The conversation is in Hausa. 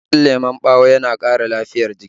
Matsatsen lemon ɓawo yana ƙara lafiyar jiki